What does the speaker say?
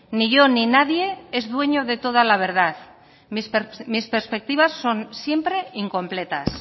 ni yo ni nadie es dueño de toda la verdad mis perspectivas son siempre incompletas